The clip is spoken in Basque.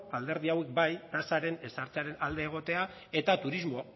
alderdi hauek bai tasaren ezartzen alde egotea eta turismo